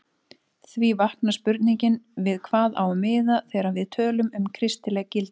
Því vaknar spurningin við hvað á að miða þegar við tölum um kristileg gildi?